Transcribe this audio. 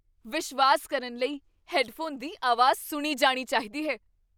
ਵਿਸ਼ਵਾਸ ਕਰਨ ਲਈ ਹੈੱਡਫੋਨ ਦੀ ਆਵਾਜ਼ ਸੁਣੀ ਜਾਣੀ ਚਾਹੀਦੀ ਹੈ।